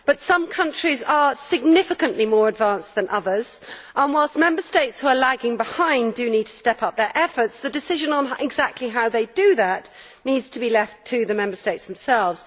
But some countries are significantly more advanced than others, and whilst Member States who are lagging behind do need to step up their efforts, the decision on exactly how they do that needs to be left to the Member States themselves.